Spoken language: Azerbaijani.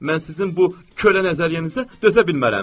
Mən sizin bu kölə nəzəriyyənizə dözə bilmərəm.